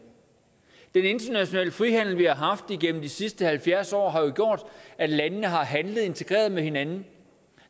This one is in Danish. den internationale frihandel vi har haft igennem de sidste halvfjerds år har jo gjort at landene har handlet integreret med hinanden